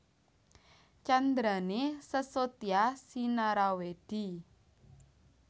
Candrané Sesotya sinarawèdi